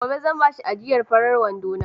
Gobe zan bashi ajiyar farin wandona.